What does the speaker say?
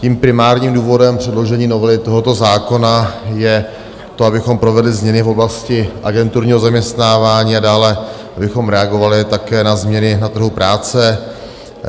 Tím primárním důvodem předložení novely tohoto zákona je to, abychom provedli změny v oblasti agenturního zaměstnávání a dále abychom reagovali také na změny na trhu práce.